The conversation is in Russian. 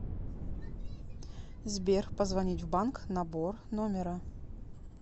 сбер позвонить в банк набор номера